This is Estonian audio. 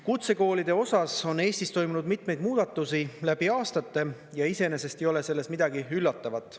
Kutsekoolide osas on Eestis toimunud mitmeid muudatusi läbi aastate ja iseenesest ei ole selles midagi üllatavat.